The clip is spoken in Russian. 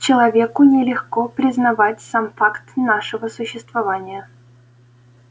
человеку нелегко признавать сам факт нашего существования